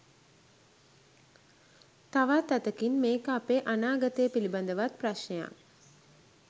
තවත් අතකින් මේක අපේ අනාගතය පිළිබඳවත් ප්‍රශ්නයක්.